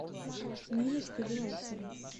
ниночкой белоусовой